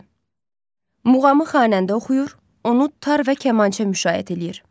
Muğamı xanəndə oxuyur, onu tar və kamança müşayiət eləyir.